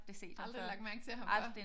Aldrig lagt mærke til ham før